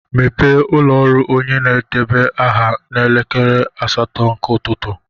Mepee ụlọ ọrụ onye na-edeba aha n'elekere asatọ nke ụtụtụ.